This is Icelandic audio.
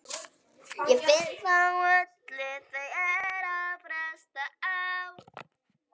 Hann skilur þetta ekki.